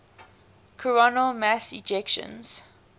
coronal mass ejections